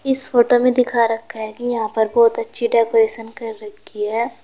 इस फोटो में दिखा रखा है कि यहां पर बहुत अच्छी डेकोरेशन कर रखी है।